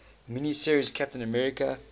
mini series captain america